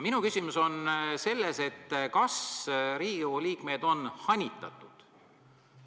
Minu küsimus on selles, kas Riigikogu liikmeid on hanitatud.